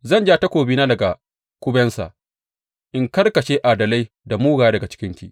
Zan ja takobina daga kubensa in karkashe adalai da mugaye daga cikinki.